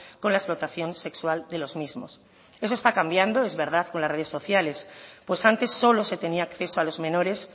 con la explotación sexual de los mismos eso está cambiando es verdad con las redes sociales pues antes solo se tenía acceso a los menores